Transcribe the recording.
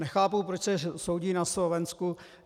Nechápu, proč se soudí na Slovensku.